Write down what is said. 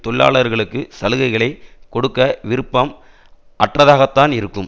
தொழிலாளர்களுக்கு சலுகைகளை கொடுக்க விருப்பம் அற்றதாகத்தான் இருக்கும்